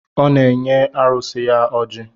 Ọ na-enye arụsị ya oji